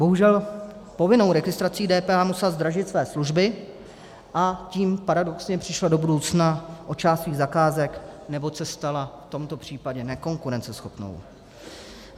Bohužel povinnou registrací DPH musela zdražit své služby, a tím paradoxně přišla do budoucna o část svých zakázek, neboť se stala v tomto případě nekonkurenceschopnou.